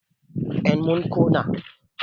en mun Kona